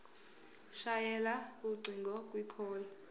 shayela ucingo kwicall